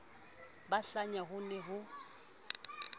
ba hlanya ho ne ho